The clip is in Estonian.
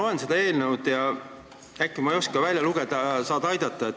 Ma loen seda eelnõu ja ma vist ei oska üht asja välja lugeda, saad ehk aidata.